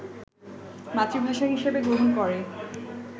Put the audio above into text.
মাতৃভাষা হিসেবে গ্রহণ করে